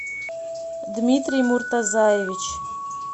дмитрий муртазаевич